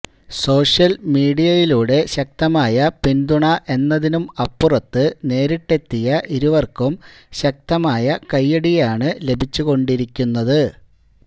social മീഡിയയിലൂടെ ശക്തമായ പിന്തുണ എന്നതിനും അപ്പുറത്ത് നേരിട്ടെത്തിയ ഇരുവര്ക്കും ശക്തമായ കൈയ്യടിയാണ് ലഭിച്ചുകൊണ്ടിരിക്കുന്നത്